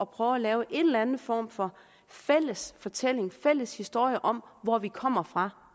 prøve at lave en eller anden form for fælles fortælling fælles historie om hvor vi kommer fra